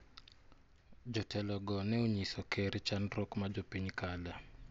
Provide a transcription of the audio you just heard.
Jotelo go ne onyiso ker chandruok ma jopiny kale.